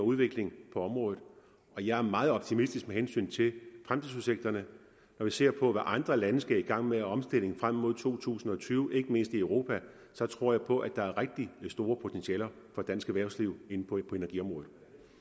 og udvikling på området og jeg er meget optimistisk med hensyn til fremtidsudsigterne når vi ser på hvad andre lande skal i gang med af omstilling frem mod to tusind og tyve ikke mindst i europa så tror jeg på at der er rigtig store potentialer for dansk erhvervsliv på energiområdet